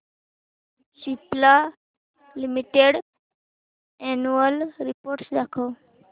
Cipla limited annual report दाखव